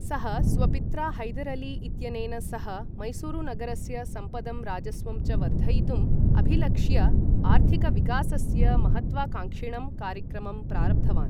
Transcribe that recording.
सः स्वपित्रा हैदर् अली इत्यनेन सह, मैसूरुनगरस्य सम्पदं राजस्वं च वर्धयितुम् अभिलक्ष्य, आर्थिकविकासस्य महत्त्वाकांक्षिणं कार्यक्रमं प्रारब्धवान्।